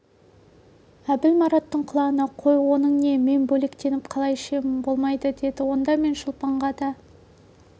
әбіл мараттың құлағына қой оның не мен бөлектеніп қалай ішемін болмайды деді онда мен шолпанға да